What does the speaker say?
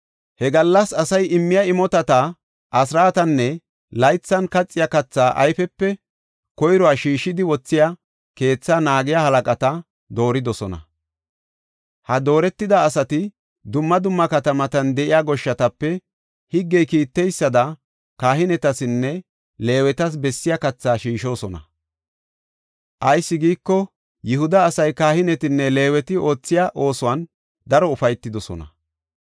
He gallas asay immiya imotata, asraatanne laythan kaxiya katha ayfiyape koyruwa shiishidi wothiya keetha naagiya halaqata dooridosona. Ha dooretida asati dumma dumma katamatan de7iya goshshatape higgey kiitteysada kahinetasinne Leewetas bessiya kathaa shiishosona. Ayis giiko, Yihuda asay kahinetinne Leeweti oothiya oosuwan daro ufaytidosona.